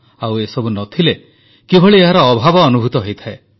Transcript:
ଆଉ ଏ ସବୁ ନ ଥିଲେ କିଭଳି ଏହାର ଅଭାବ ଅନୁଭୂତ ହୁଏ